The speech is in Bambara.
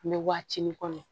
An bɛ waatinin kɔnɔ